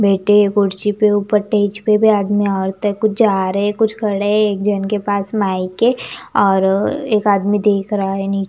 बैठे कुर्सी पे ऊपर स्टेज पे भी आदमी औरतों कुछ जा रहे कुछ खड़े है एक जन के पास माइक है और एक आदमी देख रहा है नी--